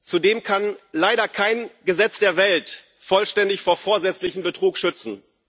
Zudem kann leider kein Gesetz der Welt vollständig vor vorsätzlichem Betrug schützen.